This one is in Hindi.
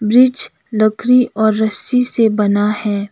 ब्रिज लकड़ी और रस्सी से बना है।